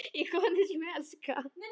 Ég skýt rótum í konunum sem ég elska.